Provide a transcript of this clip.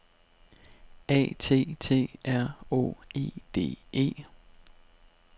A T T R Å E D E